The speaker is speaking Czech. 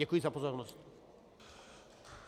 Děkuji za pozornost.